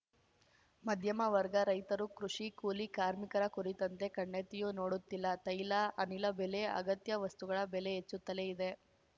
ಮಧ್ಯಮ ವರ್ಗ ರೈತರು ಕೃಷಿ ಕೂಲಿ ಕಾರ್ಮಿಕರ ಕುರಿತಂತೆ ಕಣ್ಣೆತ್ತಿಯೂ ನೋಡುತ್ತಿಲ್ಲ ತೈಲ ಅನಿಲ ಬೆಲೆ ಅಗತ್ಯ ವಸ್ತುಗಳ ಬೆಲೆ ಹೆಚ್ಚುತ್ತಲೇ ಇದೆ